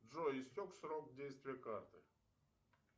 джой истек срок действия карты